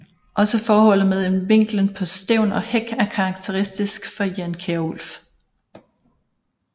Også forholdet mellem vinklen på stævn og hæk er karakteristisk for Jan Kjærulff